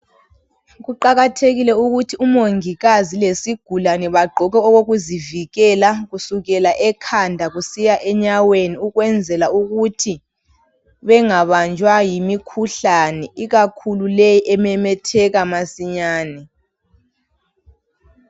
Kuqakathekile ukuthi umongikazi lesigulane bagqoke okokuzivikela kusukela ekhanda kusiya enyaweni, ukwenzela ukuthi bangabanjwa yimikhuhlane, ikakhulu leyi ememetheka masinyani.